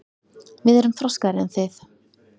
Við erum þroskaðri en þið.